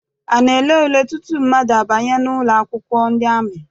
A na-ele ule tutu mmadụ abanye ụlọakwụkwọ ndị amị?